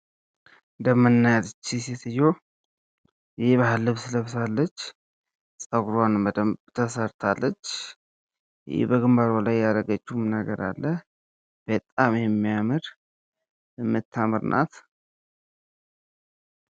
የምናያት ይች ሴትዮ የባህል ልብስ ለብሳለች። ጸጉሯን በደንብ ተሰርታለች። በግንባሯ ላይ ያደረግችውም ነገር አለ። በጣም የሚያምር የምታምር ናት።